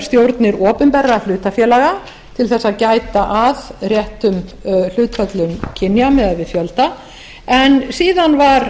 stjórnir opinberra hlutafélaga til þess að gæta að réttum hlutföllum kynja miðað við fjölda en síðan var